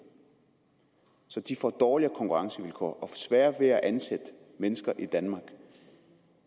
så de får dårligere konkurrencevilkår og får sværere ved at ansætte mennesker i danmark